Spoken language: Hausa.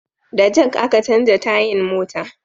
Da jak a ka canja tayan mota